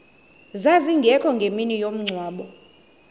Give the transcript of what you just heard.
zazingekho ngemini yomngcwabo